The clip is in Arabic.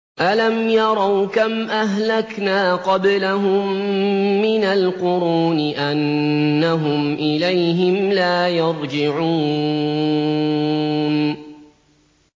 أَلَمْ يَرَوْا كَمْ أَهْلَكْنَا قَبْلَهُم مِّنَ الْقُرُونِ أَنَّهُمْ إِلَيْهِمْ لَا يَرْجِعُونَ